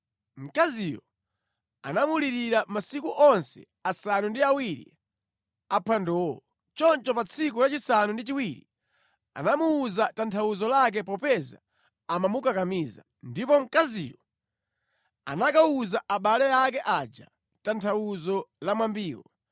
Mkaziyo anamulirira masiku onse asanu ndi awiri aphwandowo. Choncho pa tsiku lachisanu ndi chiwiri anamuwuza tanthauzo lake popeza amamukakamiza. Ndipo mkaziyo anakawuza abale ake aja tanthauzo la mwambiwo.